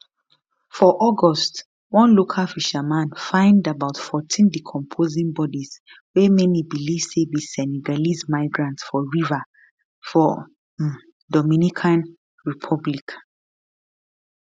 for august one local fisherman find about 14 decomposing bodies wey many believe say be senegalese migrants for river for um dominican republic